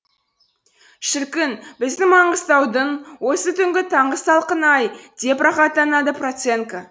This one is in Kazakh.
шіркін біздің маңғыстаудың осы түнгі таңғы салқыны ай деп рахаттанады проценко